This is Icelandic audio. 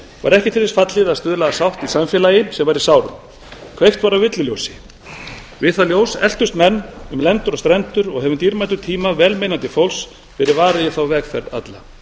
var ekki til þess fallið að stuðla að sátt í samfélagi sem var í sárum kveikt var á villuljósi við það ljós eltust menn um lendur og strendur og hefur dýrmætum tíma velmeinandi fólks verið varið í þá vegferð alla